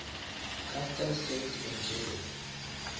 castel sant angelo